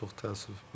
Çox təəssüf.